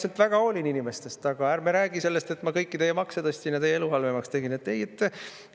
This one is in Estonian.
Ma väga hoolin inimestest, aga ärme räägi sellest, et ma kõiki teie makse tõstsin ja teie elu halvemaks tegin!